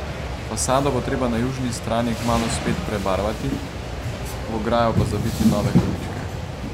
Fasado bo treba na južni strani kmalu spet prebarvati, v ograjo pa zabiti nove količke.